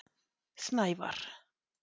Snævarr